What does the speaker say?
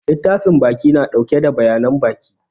Littafin baƙi na ɗauke da bayanan baƙi.